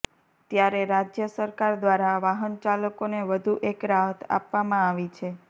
ત્યારે રાજ્ય સરકાર દ્વારા વાહનચાલકોને વધુ એક રાહત આપવામાં આવી છે